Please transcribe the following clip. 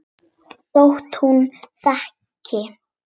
Þótt hún þegi.